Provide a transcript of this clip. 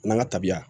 N'an ka tabiya